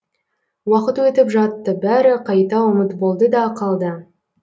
уақыт өтіп жатты бәрі қайта ұмыт болды да қалды